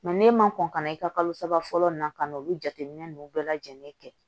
n'e ma kɔn ka na i ka kalo saba fɔlɔ ninnu na ka n'olu jateminɛ ninnu bɛɛ lajɛlen kɛ